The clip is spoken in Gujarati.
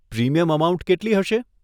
પ્રીમિયમ અમાઉન્ટ કેટલી હશે?